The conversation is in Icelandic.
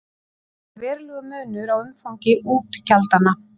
Þá er verulegur munur á umfangi útgjaldanna.